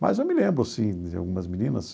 Mas eu me lembro, sim, de algumas meninas.